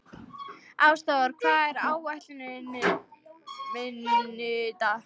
Ásþór, hvað er á áætluninni minni í dag?